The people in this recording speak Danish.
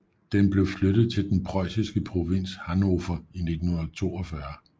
Den blev flyttet til den preussiske Provinz Hannover i 1942